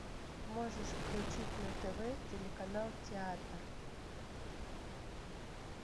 можешь включить на тв телеканал театр